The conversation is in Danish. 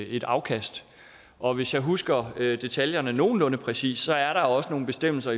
et afkast og hvis jeg husker detaljerne nogenlunde præcist er der også nogle bestemmelser